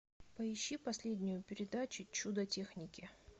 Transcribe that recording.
поищи последнюю передачу чудо техники